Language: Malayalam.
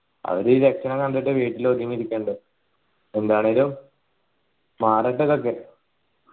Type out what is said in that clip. അവര് കണ്ടിട്ട് വീട്ടില് ഒതുങ്ങി ഇരികുന്നുണ്ട് എന്താണേലും മാറട്ടെ ഇതൊക്കെ